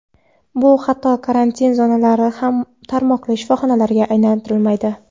Bu xato karantin zonalari ko‘p tarmoqli shifoxonalarga aylantirilmaydi.